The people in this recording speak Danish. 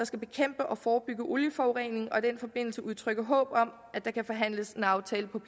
skal bekæmpe og forebygge olieforurening og i den forbindelse udtrykke håb om at der kan forhandles en aftale på